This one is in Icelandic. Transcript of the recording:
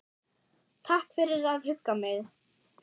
Takk fyrir að hugga mig.